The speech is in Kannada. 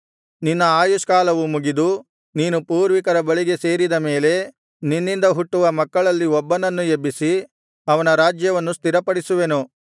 ನಿನ್ನ ಆಯುಷ್ಕಾಲವು ಮುಗಿದು ನೀನು ಪೂರ್ವಿಕರ ಬಳಿಗೆ ಸೇರಿದ ಮೇಲೆ ನಿನ್ನಿಂದ ಹುಟ್ಟುವ ಮಕ್ಕಳಲ್ಲಿ ಒಬ್ಬನನ್ನು ಎಬ್ಬಿಸಿ ಅವನ ರಾಜ್ಯವನ್ನು ಸ್ಥಿರಪಡಿಸುವೆನು